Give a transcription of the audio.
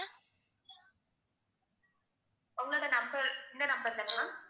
உங்களோட number இந்த number தானா ma'am